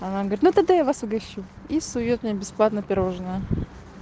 она говорит ну тогда я вас угощу и сует мне бесплатное пирожное